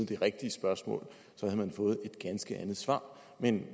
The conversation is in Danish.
det rigtige spørgsmål så havde man fået et ganske andet svar men